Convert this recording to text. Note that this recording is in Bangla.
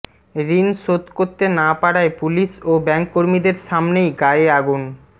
ঋণ শোধ করতে না পারায় পুলিস ও ব্যাঙ্ককর্মীদের সামনেই গায়ে আগুন